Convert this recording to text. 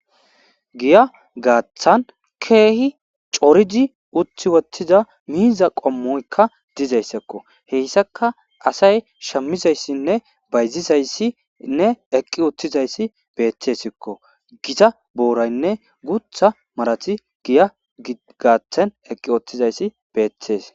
giya gaaththan keehi coridi utti wottiza miiza qommoykka dizayssikko heyssaka asay shammizayssinne bayzizayssinne eqqi uttizayssi beettesikko gita booraynne gutha marati giya gaaththan eqqi wottizayssi beettees